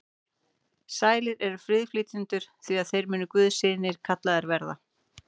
Sælir eru friðflytjendur, því að þeir munu guðs synir kallaðir verða.